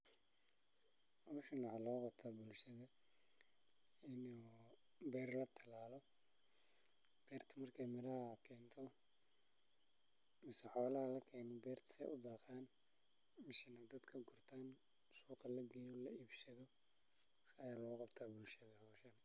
Meeshan waxaa looga qabtaa bulshada in beer la talaalo marki aay baxdo xoola lakeeno mise lagurto la iibsado ayaa loogu tala galay bulshada.